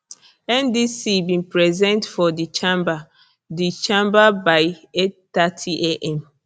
ndc bin present for di chamber di chamber by 830 am